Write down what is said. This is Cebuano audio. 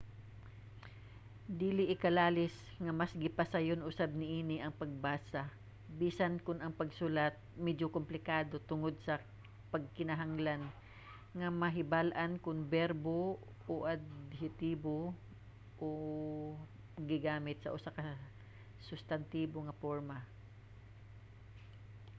dili ikalalis nga mas gipasayon usab niini ang pagbasa bisan kon ang pagsulat medyo komplikado tungod sa panginahanglan nga mahibal-an kon berbo o adhetibo ba ang gigamit sa usa ka sustantibo nga porma